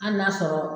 Hali n'a sɔrɔ